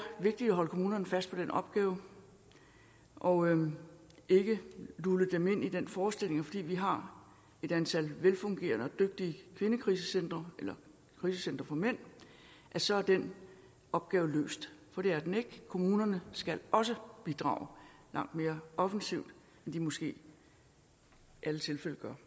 vigtigt at holde kommunerne fast på den opgave og ikke lulle dem ind i den forestilling at fordi vi har et antal velfungerende og dygtige kvindekrisecentre eller krisecentre for mænd så er den opgave løst for det er den ikke kommunerne skal også bidrage langt mere offensivt end de måske i alle tilfælde gør